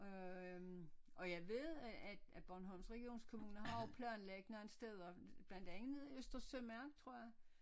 Øh og jeg ved at at at Bornholms Regionskommune har jo planlagt nogle steder blandt andet Øster Sømarken tror jeg